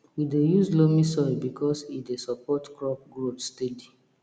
we dey use loamy soil because e dey support crop growth steady